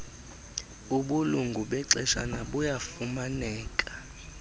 ubulungu bexeshana buyafumaneka